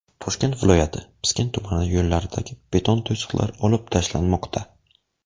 Toshkent viloyati Piskent tumani yo‘llaridagi beton to‘siqlar olib tashlanmoqda.